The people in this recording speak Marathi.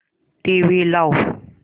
टीव्ही लाव